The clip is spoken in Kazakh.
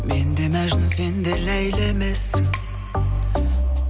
мен де мәжнүн сен де ләйлі емессің